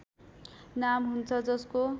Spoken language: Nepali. नाम हुन्छ जसको